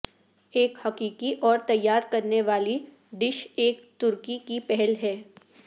ایک حقیقی اور تیار کرنے والی ڈش ایک ترکی کی پہل ہے